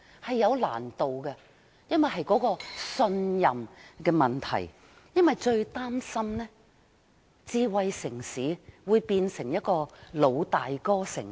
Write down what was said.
這是有難度的，因為牽涉信任問題，我們最擔心的是智慧城市會變成一個"老大哥"城市。